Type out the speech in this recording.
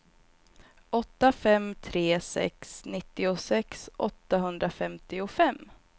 åtta fem tre sex nittiosex åttahundrafemtiofem